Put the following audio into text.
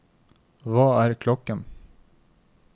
hva er klokken